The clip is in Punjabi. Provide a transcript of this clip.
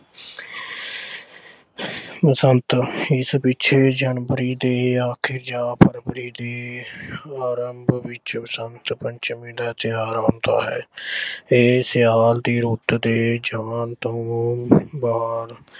ਬਸੰਤ, ਇਸ ਪਿੱਛੇ January ਦੇ ਅਖੀਰ ਜਾਂ Febuary ਦੇ ਆਰੰਭ ਵਿੱਚ ਬਸੰਤ-ਪੰਚਮੀ ਦਾ ਤਿਉਹਾਰ ਹੁੰਦਾ ਹੈ। ਇਹ ਸਿਆਲ ਦੀ ਰੁੱਤ ਦੇ ਜਾਣ ਤੋਂ ਬਾਅਦ